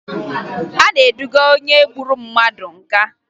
A na-eduga onye gburu mmadụ nga